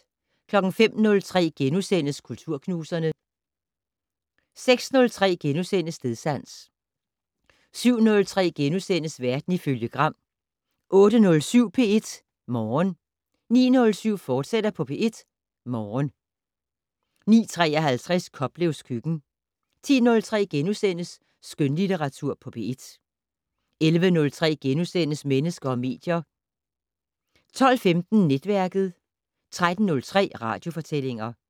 05:03: Kulturknuserne * 06:03: Stedsans * 07:03: Verden ifølge Gram * 08:07: P1 Morgen 09:07: P1 Morgen, fortsat 09:53: Koplevs køkken 10:03: Skønlitteratur på P1 * 11:03: Mennesker og medier * 12:15: Netværket 13:03: Radiofortællinger